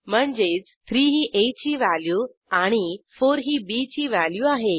म्हणजे 3 ही आ ची व्हॅल्यू आणि 4 ही bची व्हॅल्यू आहे